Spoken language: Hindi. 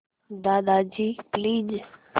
दादाजी प्लीज़